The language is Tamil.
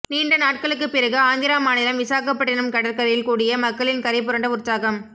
நீண்ட நாட்களுக்கு பிறகு ஆந்திரா மாநிலம் விசாகப்பட்டினம் கடற்கரையில் கூடிய மக்களின் கரைபுரண்ட உற்சாகம்